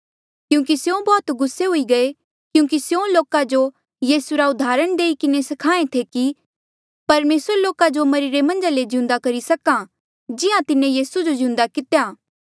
क्यूंकि स्यों बौह्त गुस्से हुई गये क्यूंकि स्यों लोका जो यीसू रा उदाहरण देई किन्हें स्खाहें थे कि होर परमेसरा लोका जो मरिरे मन्झा ले जी उठाई सका जिहां तिन्हें यीसू जो जिउंदा कितेया